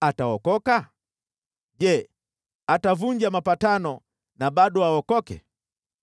ataokoka? Je, atavunja mapatano na bado aokoke?